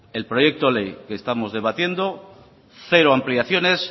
el proyecto de ley que estamos debatiendo cero ampliaciones